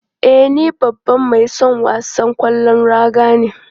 E, ni babban mai son wasan kwallon raga ne.